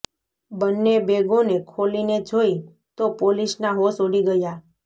બંને બેગોને ખોલીને જોઈ તો પોલિસના હોશ ઉડી ગયા